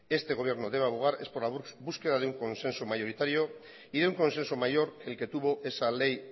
este gobierno debe abogar es por la búsqueda de un consenso mayoritario y un consenso mayor que el que tuvo esa ley